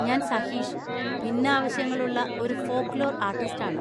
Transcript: ഞാൻ സഹീഷ്, ഭിന്നാവശ്യങ്ങളുള്ള ഒരു ഫോക്ക് ലോർ ആർട്ടിസ്റ്റാണ്.